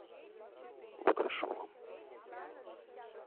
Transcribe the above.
лукашовым